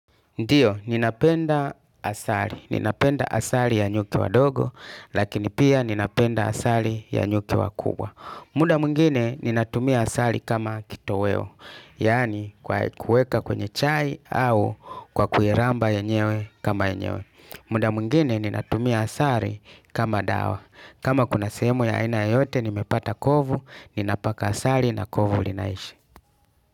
Ndiyo, ninapenda asali. Ninapenda asali ya nyuki wadogo lakini pia ninapenda asali ya nyuki wakubwa. Muda mwingine, ninatumia asali kama kitoweo. Yaani kwa kuweka kwenye chai au kwa kuyaramba yenyewe kama yenyewe. Muda mwingine ninatumia asali kama dawa. Kama kuna semo ya aina yoyote, nimepata kovu, ninapaka asali na kovu ulinaishi.